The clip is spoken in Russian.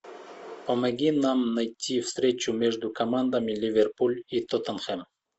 помоги нам найти встречу между командами ливерпуль и тоттенхэм